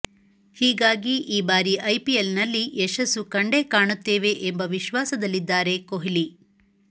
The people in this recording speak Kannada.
ಹೀಗಾಗಿ ಈ ಬಾರಿ ಐಪಿಎಲ್ ನಲ್ಲಿ ಯಶಸ್ಸು ಕಂಡೇ ಕಾಣುತ್ತೇವೆ ಎಂಬ ವಿಶ್ವಾಸದಲ್ಲಿದ್ದಾರೆ ಕೊಹ್ಲಿ